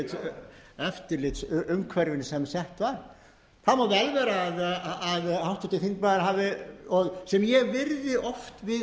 sett var það má vel vera að háttvirtur þingmaður hafi sem ég virði oft við